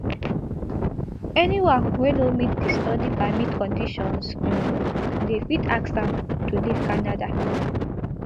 anyone wey no meet di study permit conditions um dem fit ask am to leave canada